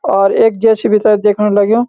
और एक जे.सी.बी. चा दिखण लग्युं।